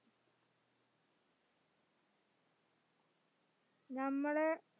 നമ്മളെ